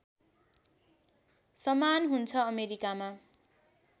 समान हुन्छ अमेरीकामा